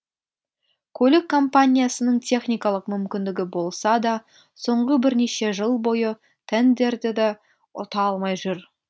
көлік компаниясының техникалық мүмкіндігі болса да соңғы бірнеше жыл бойы тендерді ұта алмай жүр